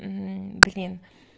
блин